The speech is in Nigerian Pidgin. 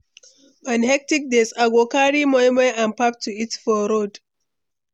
On hectic days, I go carry moi moi and pap to eat for road.